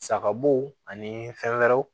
Sagabow anii fɛn wɛrɛw